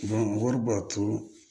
wari b'a to